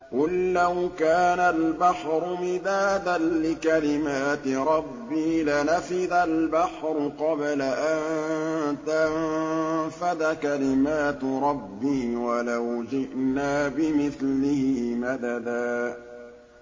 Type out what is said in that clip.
قُل لَّوْ كَانَ الْبَحْرُ مِدَادًا لِّكَلِمَاتِ رَبِّي لَنَفِدَ الْبَحْرُ قَبْلَ أَن تَنفَدَ كَلِمَاتُ رَبِّي وَلَوْ جِئْنَا بِمِثْلِهِ مَدَدًا